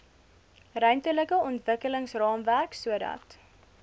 ruimtelike ontwikkelingsraamwerk sodat